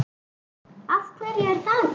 Af hverju er það gert?